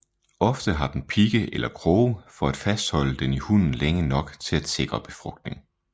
Ofte har den pigge eller kroge for at fastholde den i hunnen længe nok til at sikre befrugtning